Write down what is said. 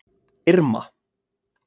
Irma